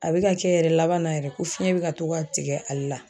A bɛ ka kɛ yɛrɛ laban na yɛrɛ, ko fiɲɛ bɛ ka to ka tigɛ ale la.